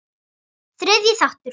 Þriðji þáttur